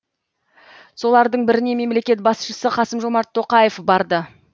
солардың біріне мемлекет басшысы қасым жомарт тоқаев барды